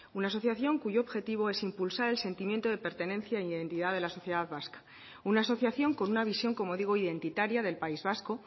una asociación cuyo objetivo es impulsar el sentimiento de pertenencia y de identidad de la sociedad vasca una asociación con una visión como digo identitaria del país vasco